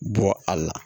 Bɔ a la